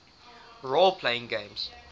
role playing games